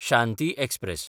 Shanti express